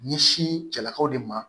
Ɲɛsin cɛlakaw de ma